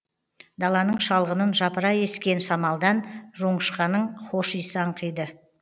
даланың шалғынын жапыра ескен самалдан жоңышқаның хош иісі аңқиды